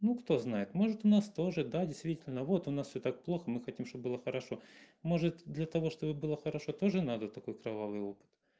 ну кто знает может у нас тоже да действительно вот у нас всё так плохо мы хотим чтобы было хорошо может для того чтобы было хорошо тоже надо такой кровавый опыт